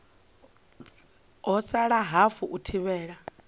ha sala hafu u thivhela